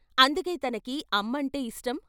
అందుకే తనకి అమ్మ అంటే ఇష్టం।